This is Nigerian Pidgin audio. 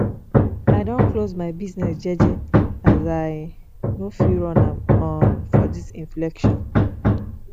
i don close my business jeje as i no fit run am um for dis inflation